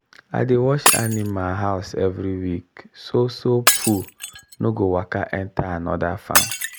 i dey wash animal house every week so so poo no go waka enter another farm.